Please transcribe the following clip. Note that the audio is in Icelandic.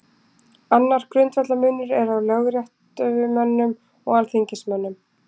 Annar grundvallarmunur er á lögréttumönnum og alþingismönnum.